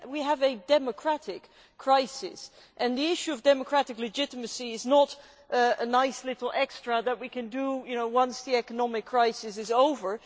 we have a democratic crisis, and the issue of democratic legitimacy is not a nice little extra that we can do once the economic crisis is over.